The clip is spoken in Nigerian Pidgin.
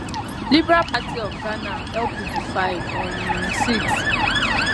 liberal party of ghana lpg 5 um 6